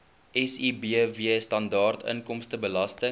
sibw standaard inkomstebelasting